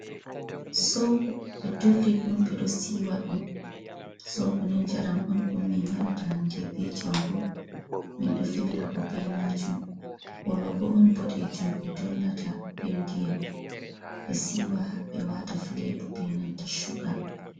zoobo ɓe dolli ɗum be ɗo siiwa ɗum, zoobo nii ɗum njaram on ɗum min yarata hanndee bee jango, min ɗo filira bo bee majum hologo on boɗeejum ɓe dollata bee ndiyam ɓe be siiwa ɓe waata fileebo bee nanta chuga.